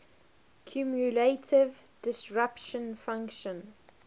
cumulative distribution function